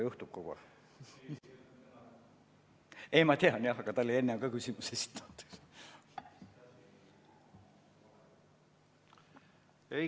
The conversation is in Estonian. Ei kuule siiani.